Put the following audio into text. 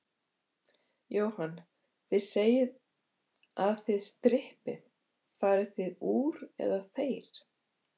Jóhann: Þið segið að þið strippið, farið þið úr, eða þeir?